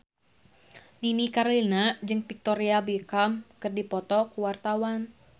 Nini Carlina jeung Victoria Beckham keur dipoto ku wartawan